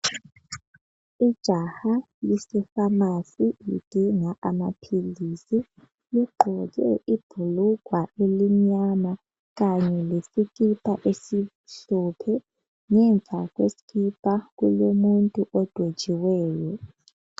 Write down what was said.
Ijaha lise famasi lidinga amaphilisi ligqoke ibhulugwa elimnyama kanye lesikipa esimhlophe ngemva kwesikipa kulomuntu odwetshiweyo.